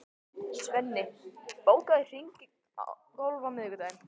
Svenni, bókaðu hring í golf á miðvikudaginn.